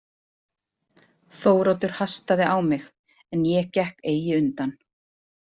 Þóroddur hastaði á mig en ég gekk eigi undan.